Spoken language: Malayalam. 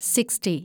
സിക്സ്റ്റി